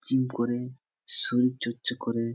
Gym করে শরীর চর্চা করে ।